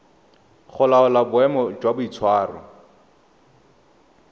go laola boemo jwa boitshwaro